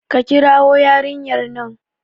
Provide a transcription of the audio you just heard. ka kirwo yarinyar nan!